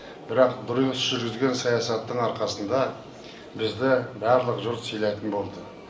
бірақ дұрыс жүргізілген саясаттың арқасында бізді барлық жұрт сыйлайтын болды